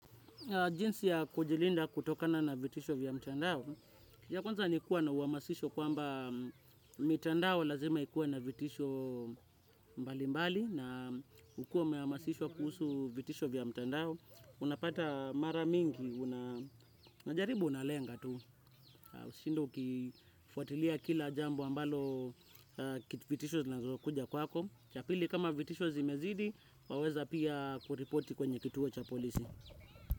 Jinsi ya kujilinda kutokana na vitisho vya mtandao, ya kwanza ni kuwa na uhamasisho kwamba mitandao lazima ikuwe na vitisho mbalimbali na ukuwe umehamasishwa kuhusu vitisho vya mtandao. Unapata mara mingi, unajaribu unalenga tu. Usishinde ukifuatilia kila jambo ambalo vitisho zinazokuja kwako. Cha pili kama vitisho zimezidi, waweza pia kuripoti kwenye kituo cha polisi.